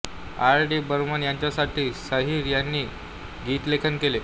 R D Burman यांच्यासाठीही साहिर यांनी गीतलेखन केले